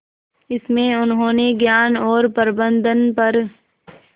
इसमें उन्होंने ज्ञान और प्रबंधन पर